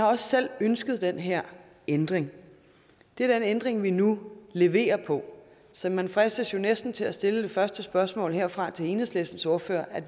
også selv har ønsket den her ændring det er den ændring vi nu leverer på så man fristes jo næsten til at stille det første spørgsmål herfra til enhedslistens ordfører